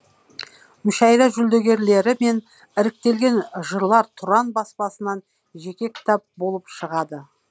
мүшәйра жүлдегерлері мен іріктелген жырлар тұран баспасынан жеке кітап болып шығады